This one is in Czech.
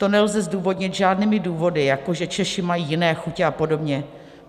To nelze zdůvodnit žádnými důvody, jako že Češi mají jiné chutě a podobně.